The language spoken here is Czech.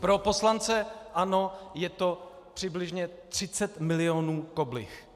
Pro poslance ANO - je to přibližně 30 milionů koblih.